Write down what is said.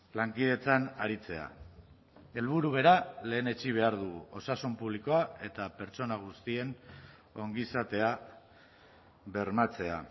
lankidetzan aritzea helburu bera lehenetsi behar dugu osasun publikoa eta pertsona guztien ongizatea bermatzea